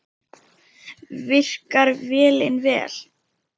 Virkar vélin vel?